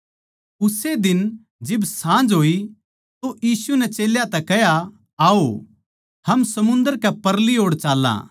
उस्से दिन जिब साँझ होई तो यीशु नै चेल्यां तै कह्या आओ हम समुन्दर के परली ओड़ चाल्लां